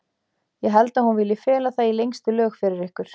Ég held að hún vilji fela það í lengstu lög fyrir ykkur.